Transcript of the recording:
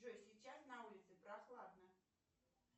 джой сейчас на улице прохладно